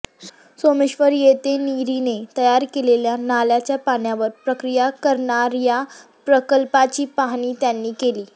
सोमेश्वर येथे निरीने तयार केलेल्या नाल्याच्या पाण्यावर प्रक्रिया करणार्या प्रकल्पाची पाहणी त्यांनी केली